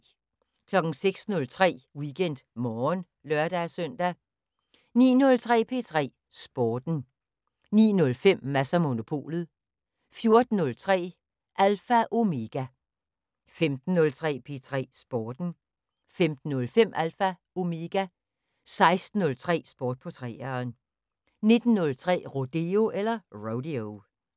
06:03: WeekendMorgen (lør-søn) 09:03: P3 Sporten 09:05: Mads & Monopolet 14:03: Alpha Omega 15:03: P3 Sporten 15:05: Alpha Omega 16:03: Sport på 3'eren 19:03: Rodeo